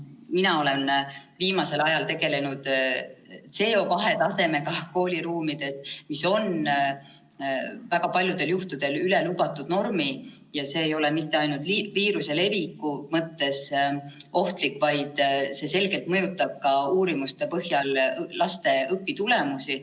Mina olen viimasel ajal tegelenud CO2 tasemega kooliruumides, mis on väga paljudel juhtudel üle lubatud normi, ja see ei ole mitte ainult viiruse leviku mõttes ohtlik, vaid see selgelt mõjutab ka uurimuste põhjal laste õpitulemusi.